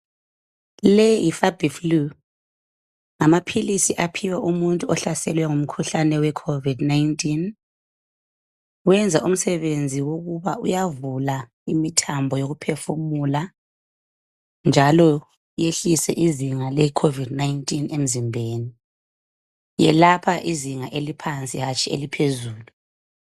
Leyi hi Fabi flu ngamaphilisi aphiwa umuntu ohlaselwe ngumkhuhlane we covid19 wenza umsebenzi wokuba uyavula imithambo yokuphefumula njalo yehlise izinga le covid19 emzimbeni yelapha izinga eliphansi hatshi eliphezulu.